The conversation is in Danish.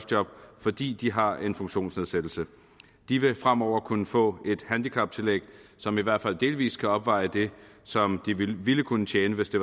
job fordi de har en funktionsnedsættelse de vil fremover kunne få et handicaptillæg som i hvert fald delvist kan opveje det som de ville kunne tjene hvis de